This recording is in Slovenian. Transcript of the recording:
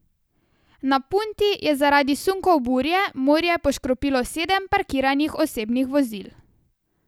Na Punti je zaradi sunkov burje morje poškropilo sedem parkiranih osebnih vozil.